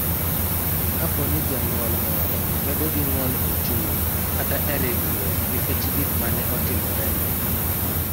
Kapo ni janyuol moro bedo gi ng�ol e chuny kata e ringruok nikech gik ma ne otimorene.